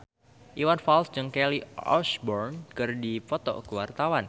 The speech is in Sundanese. Iwan Fals jeung Kelly Osbourne keur dipoto ku wartawan